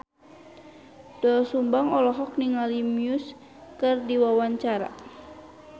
Doel Sumbang olohok ningali Muse keur diwawancara